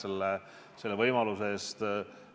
Aitäh selle võimaluse eest!